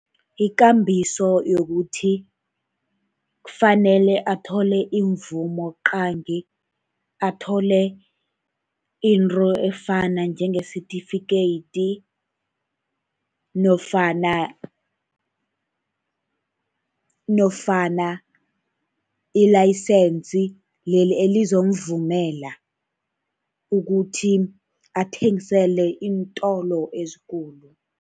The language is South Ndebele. Ikambiso yokuthi kufanele athole imvumo qangi, athole into efana njengesitifikeyiti, nofana, nofana i-license leli elizomuvumela ukuthi athengisele iintolo ezikulu.